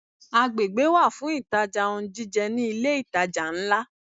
Agbègbè wà fún ìtajà ohun jíjẹ ní ilé ìtajà ńlá.